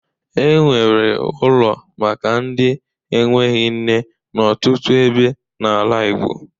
E nwere ụlo maka ndị enweghị nne n'ọtụtụ ebe n'ala Igbo.